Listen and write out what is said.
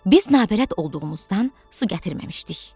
Biz nabələd olduğumuzdan su gətirməmişdik.